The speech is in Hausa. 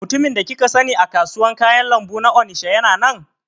Mutumin da kika sani a kasuwar kayan lambu ta Onisha yana nan?